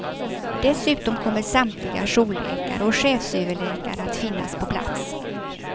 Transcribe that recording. Dessutom kommer samtliga jourläkare och chefsöverläkare att finnas på plats.